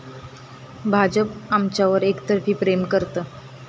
भाजप आमच्यावर एकतर्फी प्रेम करतं'